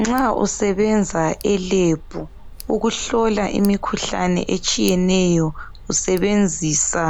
Nxa usebenza elebhu ukuhlola imikhuhlane etshiyeneyo usebenzisa